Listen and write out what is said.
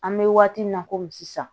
An bɛ waati min na komi sisan